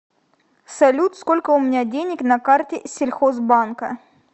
салют сколько у меня денег на карте сельхозбанка